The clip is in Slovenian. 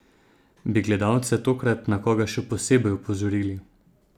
Bi gledalce tokrat na koga še posebej opozorili?